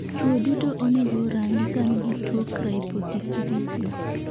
Chuo duto onego rang kangi tuo cryptorchidism